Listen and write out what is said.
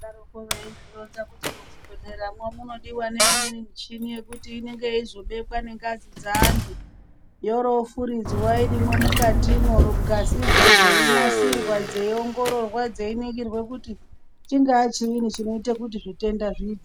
Vaidaroko veizvironza kuti muzvibhehleramwo munodiwa neimweni michini yekuti inenge yeizobeka nengazi dzeanhu yooro yofuridzwa irimwo mukatimwo ngazidzo dzeinasirwa, dzeiongororwa, dzeiningirwe kuti chingaa chinyini chinoite kuti zvitenda zviite.